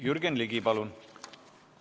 Jürgen Ligi, palun!